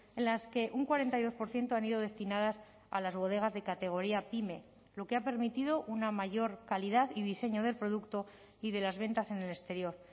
en las que un cuarenta y dos por ciento han ido destinadas a las bodegas de categoría pyme lo que ha permitido una mayor calidad y diseño del producto y de las ventas en el exterior